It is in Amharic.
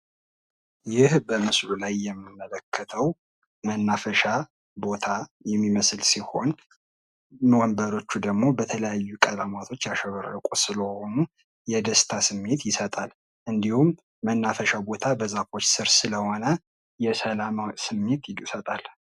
ይህ በምስሉ ላይ የምንመለከተው መናፈሻ ቦታ የሚመስል ሲሆን መቀመጫዎች ደሞ በተለየ ቀለም ያሸበረቁ ስለሆነ የደስታ ስሜት ይሰጣል። እንዲሁም በዛፎች ስር ስለሆነ የደስታ ስሜት ይሰጣል።